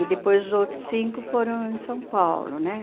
E depois os outros cinco foram em São Paulo, né?